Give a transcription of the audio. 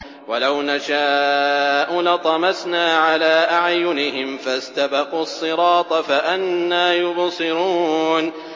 وَلَوْ نَشَاءُ لَطَمَسْنَا عَلَىٰ أَعْيُنِهِمْ فَاسْتَبَقُوا الصِّرَاطَ فَأَنَّىٰ يُبْصِرُونَ